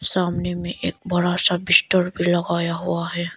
सामने में एक बड़ा सा बिस्तर भी लगाया हुआ है।